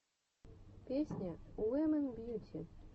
песня уимэн бьюти